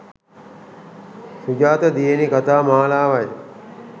සුජාත දියණී කතා මාලාවයි.